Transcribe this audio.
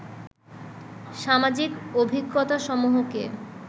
সামাজিক অভিজ্ঞতাসমূহকে